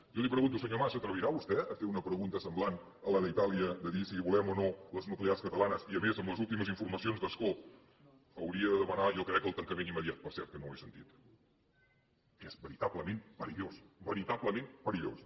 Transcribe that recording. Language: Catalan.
jo li pregunto senyor mas s’atrevirà vostè a fer una pregunta semblant a la d’itàlia de dir si volem o no les nuclears catalanes i a més amb les últimes informacions d’ascó hauria de demanar jo ho crec el tancament immediat per cert que no l’he sentit que és veritablement perillós veritablement perillós